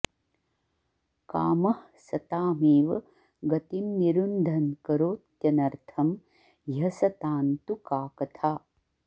कामः सतामेव गतिं निरुन्धन्करोत्यनर्थं ह्यसतां तु का कथा